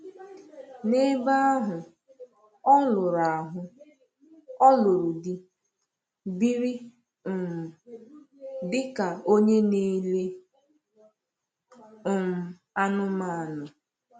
N’ebe ahụ, ọ lụrụ ahụ, ọ lụrụ di, biri um dị ka onye na-ele um anụmanụ.